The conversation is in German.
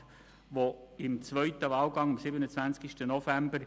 Diese wurde beim zweiten Wahlgang am 27.11.